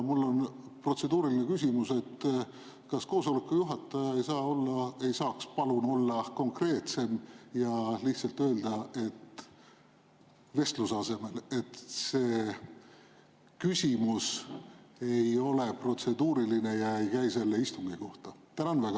Mul on protseduuriline küsimus: kas koosoleku juhataja ei saaks palun olla konkreetsem ja lihtsalt öelda – vestluse asemel –, et see küsimus ei ole protseduuriline ega käi selle istungi kohta?